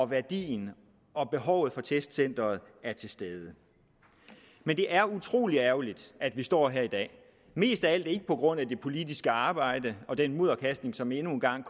værdien og behovet for testcenteret er til stede men det er utrolig ærgerligt at vi står her i dag mest af alt ikke på grund af det politiske arbejde og den mudderkastning som endnu en gang